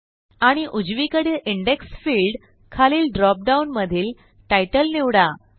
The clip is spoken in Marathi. आणि उजवीकडील इंडेक्स फील्ड खालील ड्रॉप डाउन मधीलTitle निवडा